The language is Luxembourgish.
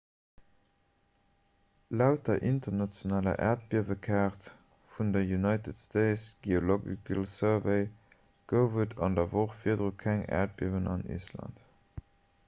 laut der internationaler äerdbiewekaart vun der united states geological survey gouf et an der woch virdru keng äerdbiewen an island